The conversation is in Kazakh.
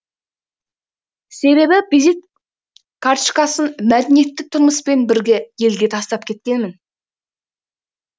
себебі визит карточкасын мәдениетті тұрмыспен бірге елге тастап кеткенмін